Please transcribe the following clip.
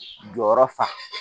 Jɔyɔrɔ fa